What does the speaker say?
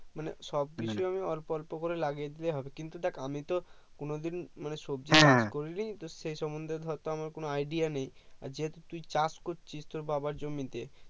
মানে সব কিছু আমি অল্প অল্প করে লাগিয়ে দিলে হবে কিন্তু দেখ আমি তো কোনোদিন মানে সবজি চাষ করিনি তো সেই সমন্ধে ধর তো আমার কোনো idea নেই যেহেতু তুই চাষ করছিস তোর বাবার জমিতে